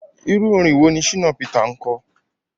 Irú orin wo ni Shina Peter ń kọ?